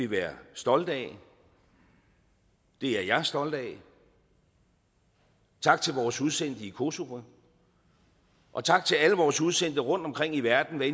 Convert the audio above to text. være stolte af det er jeg stolt af tak til vores udsendte i kosovo og tak til alle vores udsendte rundtomkring i verden hvad